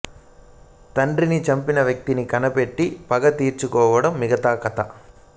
తండ్రిని చంపిన వ్యక్తిని కనిపెట్టి పగ తీర్చుకోవటం మిగతా కథ